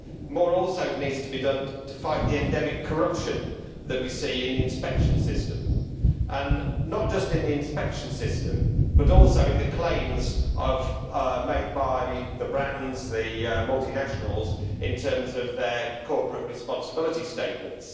More also needs to be done to fight the endemic corruption that we see in the inspection system and not just in the inspection system, but also in the claims made by the brands, the multinationals, in terms of their corporate responsibility statements.